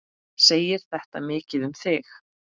Segir þetta mikið um þig.